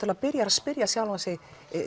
byrjar að spyrja sjálfan sig